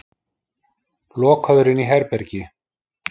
Lokaður inní herbergi.